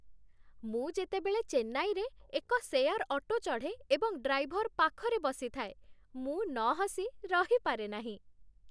ମୁଁ ଯେତେବେଳେ ଚେନ୍ନାଇରେ ଏକ ସେୟାର୍ ଅଟୋ ଚଢ଼େ ଏବଂ ଡ୍ରାଇଭର୍ ପାଖରେ ବସିଥାଏ, ମୁଁ ନହସି ରହିପାରେ ନାହିଁ।